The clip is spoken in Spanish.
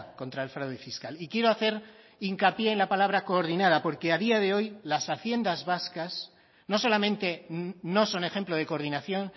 contra el fraude fiscal y quiero hacer hincapié en la palabra coordinada porque a día de hoy las haciendas vascas no solamente no son ejemplo de coordinación